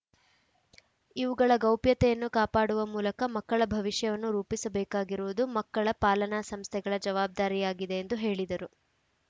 ಇವುಗಳ ಗೌಪ್ಯತೆಯನ್ನು ಕಾಪಾಡುವ ಮೂಲಕ ಮಕ್ಕಳ ಭವಿಷ್ಯವನ್ನು ರೂಪಿಸಬೇಕಾಗಿರುವುದು ಮಕ್ಕಳ ಪಾಲನಾ ಸಂಸ್ಥೆಗಳ ಜವಾಬ್ದಾರಿಯಾಗಿದೆ ಎಂದು ಹೇಳಿದರು